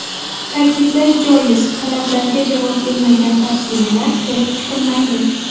Ta’kidlash joiz, talablarga javob bermagan tarjimalar ko‘rib chiqilmaydi.